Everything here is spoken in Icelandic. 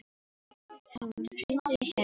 Þór, hringdu í Herleif.